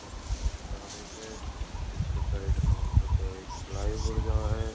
सड़क को नजरो स इसके साइड में ऊपर एक फ्लाईओवर जा है।